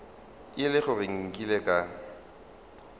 e le gore nkile ka